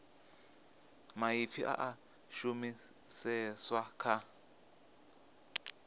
maipfi a a shumiseswa kha